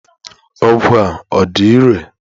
Ọgwụ a ọ dị irè?